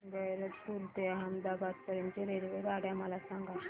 गैरतपुर ते अहमदाबाद पर्यंत च्या रेल्वेगाड्या मला सांगा